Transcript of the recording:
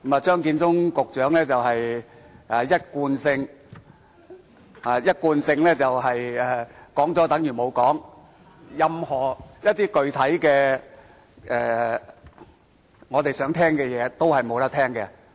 張建宗局長一貫是說了等於沒說，任何具體的、我們想聽到的話，他都沒有說。